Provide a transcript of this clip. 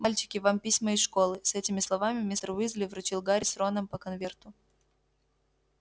мальчики вам письма из школы с этими словами мистер уизли вручил гарри с роном по конверту